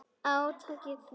Átakið, já.